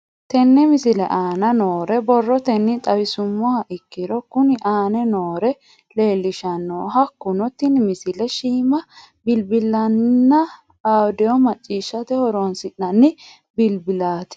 Tenne misile aana noore borrotenni xawisummoha ikirro kunni aane noore leelishano. Hakunno tinni misile shiima bilbilatenna audio macciishshate horonsinanni bilbilaati.